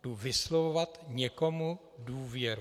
Jdu vyslovovat někomu důvěru.